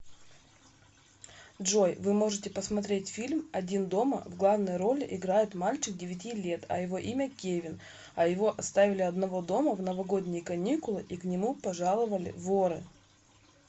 джой вы можете посмотреть фильм один дома в главной роли играет мальчик девяти лет а его имя кевин а его оставили одного дома в новогодние каникулы и к нему пожаловали воры